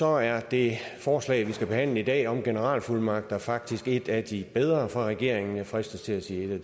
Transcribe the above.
er det forslag vi skal behandle i dag om generalfuldmagter faktisk et af de bedre fra regeringen jeg fristes til at sige at